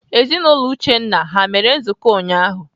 Ezinaụlọ Uchenna ha mere nzukọ ụnyaahụ?